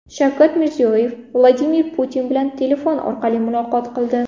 Shavkat Mirziyoyev Vladimir Putin bilan telefon orqali muloqot qildi .